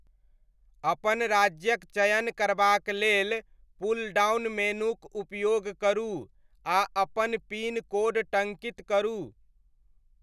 अपन राज्यक चयन करबाक लेल पुलडाउन मेनूक उपयोग करू, आ अपन पिन कोड टङ्कित करू।